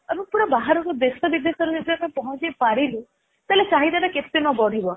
ଆମେ ସବୁ ଦେଶ ବିଦେଶରେ ପହଞ୍ଚେଇ ପାରିଲୁ ତାହାଲେ ଚାହିଦା ଟା କେତେ ନ ବଢିବ